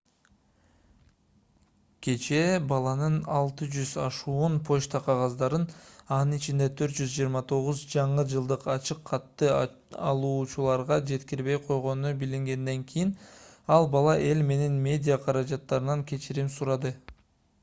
кечээ баланын 600 ашуун почта кагаздарын анын ичинде 429 жаңы жылдык ачык катты алуучуларга жеткирбей койгону билингенден кийин ал бала эл менен медиа каражаттарынан кечирим сурады